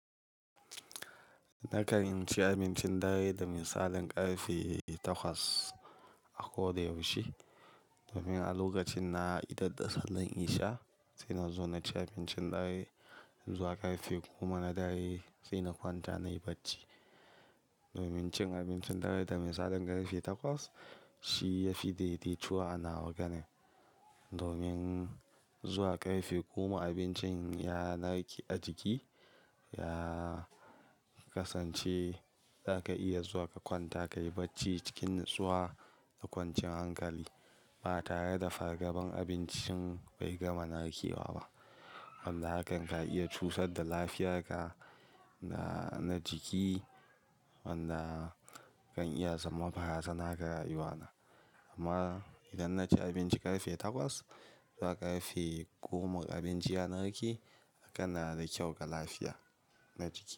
Nakan ci abincin dare da misalin ƙarfe takwas a koda yaushe. Domin a lokacin na idar da sallan isha, sai na zo na ci abincin dare. Zuwa ƙarfe goma na dare sai na kwanta nayi bacci. Domin cin abincin dare da misalin ƙarfe takwas shi ya fi daidaituwa a nawa ganin. Domin zuwa ƙarfe goma abincin ya narke a jiki, ya kasance zaka iya zuwa ka kwanta kayi bacci cikin natsuwa da kwancin hankali ba tare da fargabar abincin bai gama narkewa ba. Wanda hakan ka iya cusa da lafiyarka na jiki wanda kan iya zama baraza na gara yiwa na. Amma idan na ci abinci ƙarfe takwas zuwa ƙarfe goma abinci ya narke hakan na da kyau ga lafiya na jiki.